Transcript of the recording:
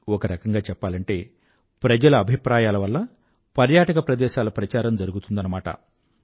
ఒక రకంగా చెప్పాలంటే ప్రజల అభిప్రాయాల వల్ల పర్యాటక ప్రదేశాల ప్రచారం జరుగుతుందన్నమాట